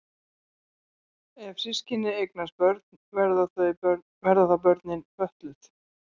Ef systkini eignast börn verða þá börnin fötluð?